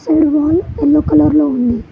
Side wall yellow colour లో ఉంది.